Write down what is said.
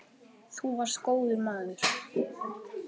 Þú varst góður maður.